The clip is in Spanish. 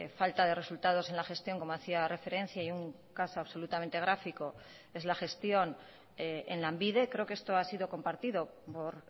falta de resultados en la gestión como hacía referencia y un caso absolutamente gráfico es la gestión en lanbide creo que esto ha sido compartido por